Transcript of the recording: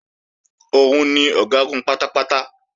Òun ni Ọ̀gágun pátápátá